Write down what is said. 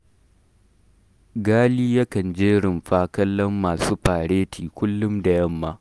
Ghali yakan je Rumfa kallon masu fareti kullum da yamma